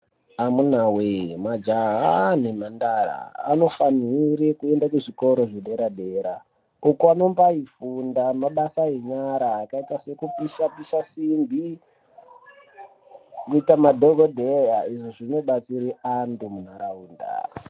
Amunawee majaha nemhandara anofanire kuende kuzvikora zvedera-dera uko anombaifunda mabasa enyara akaita sekupisha-pisha simbi, kuita madhogodheya izvo zvinobatsira antu munharaunda.